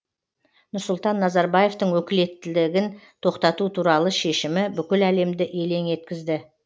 нұрсұлтан назарбаевтың өкілеттігін тоқтату туралы шешімі бүкіл әлемді елең еткізді